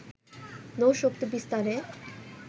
নৌশক্তি বিস্তারে